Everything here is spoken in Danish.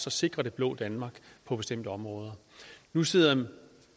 at sikre det blå danmark på bestemte områder nu sidder